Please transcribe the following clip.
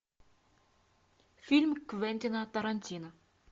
фильм квентина тарантино